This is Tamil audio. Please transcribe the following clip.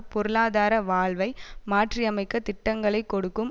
பொருளாதார வாழ்வை மாற்றி அமைக்க திட்டங்களை கொண்டிருக்கும்